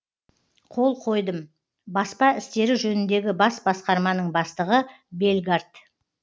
қол қойдым баспа істері жөніндегі бас басқарманың бастығы бельгард